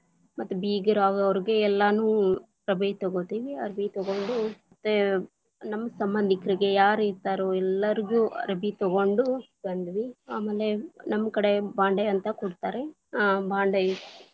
ಮತ್ತ ಬೀಗರ ಅವ್ರ, ಅವರಿಗೆ ಎಲ್ಲಾನೂ ಅರಬಿ ತಗೋತೀವಿ. ಅರ್ಬಿ ತಗೊಂಡು, ಮತ್ತೆ ನಮ್ಮ ಸಂಬಂಧಿಕರಿಗೆ ಯಾರು ಇರ್ತಾರೋ ಎಲ್ಲಾರಿಗೂ ಅರ್ಬಿ ತಗೊಂಡು ಬಂದ್ವಿ. ಆಮೇಲೆ ನಮ್ ಕಡೆ ಬಾಂಡೆ ಅಂತ ಕೊಡ್ತಾರೆ ಆ ಭಾಂಡೆ.